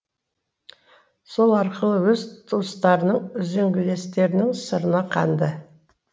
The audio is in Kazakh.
сол арқылы өз тұстарының үзеңгілестерінің сырына қанды